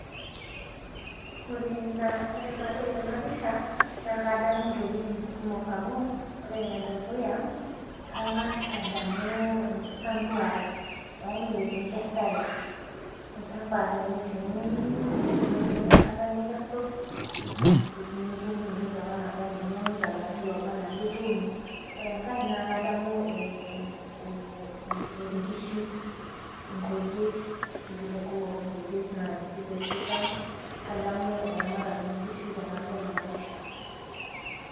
Ore naa tenadol ena pisha naa kadamu intokitin kumok amuu ore Ene dukuya kang'as adamu enkisambuare yaani enkesare olchamba teniun nebaki enkarna nikesu aasi nitum apa entoki naba anaa nianyu. Latin looba ana lituno. Ore enkar naa kadamu inkishu inkujit vile kumok inkujit vile sidan kadamu aramatare oo nkishu tenadol ena pisha.